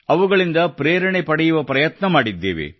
ಅವುಗಳಿಂದ ಪ್ರೇರಣೆ ಪಡೆಯುವ ಪ್ರಯತ್ನ ಮಾಡಿದ್ದೇವೆ